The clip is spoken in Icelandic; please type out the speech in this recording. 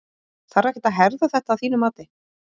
Þarf ekkert að herða þetta að þínu mati?